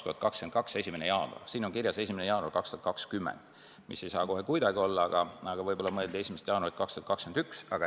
Protokollis on kirjas 1. jaanuar 2020, mis ei saa kohe kuidagi olla, aga võib-olla mõeldi 1. jaanuari 2021.